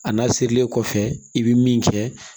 A n'a sirilen kɔfɛ i bɛ min kɛ